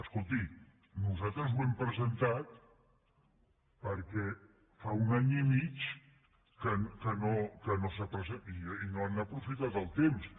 escolti nosaltres ho hem presen·tat perquè fa un any i mig que no s’ha presentat i no han aprofitat el temps